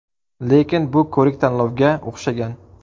Lekin bu ko‘rik-tanlovga o‘xshagan.